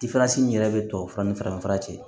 min yɛrɛ bɛ tubabu fura ni farafinfura cɛ